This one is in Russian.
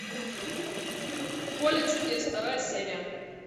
поле чудес вторая серия